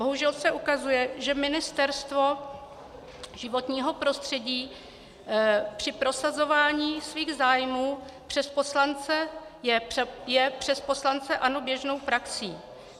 Bohužel se ukazuje, že Ministerstvo životního prostředí při prosazování svých zájmů je přes poslance ANO běžnou praxí.